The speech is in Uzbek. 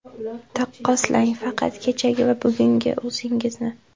Taqqoslang, faqat kechagi va bugungi o‘zingizni.